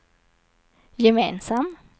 gemensam